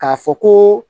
K'a fɔ ko